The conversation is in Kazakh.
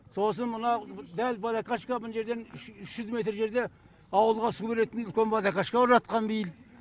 сосын мына дәл водокашка мына жерден үш жүз метр жерде ауылға су келетін үлкен водокашка орнатқан биыл